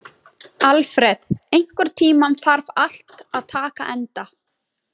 Alfreð, einhvern tímann þarf allt að taka enda.